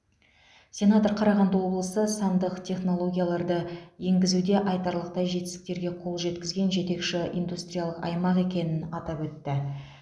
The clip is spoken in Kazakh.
сенатор қарағанды облысы сандық технологияларды енгізуде айтарлықтай жетістіктерге қол жеткізген жетекші индустриялық аймақ екенін атап өтті